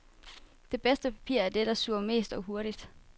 Det bedste papir er det, der suger mest og hurtigt.